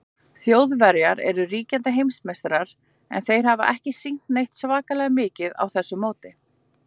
Þjóðverjar eru ríkjandi heimsmeistarar, en þeir hafa ekki sýnt neitt svakalega mikið á þessu móti.